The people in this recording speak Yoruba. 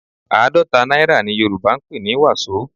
Àádọ́ta náírà ni Yorùbá ń pè ní wàsó